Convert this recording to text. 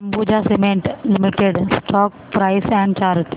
Ambuja cement limited stock price and chart